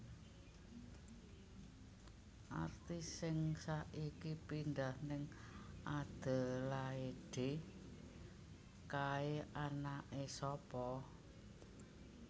Artis sing saiki pindah ning Adelaide kae anake sapa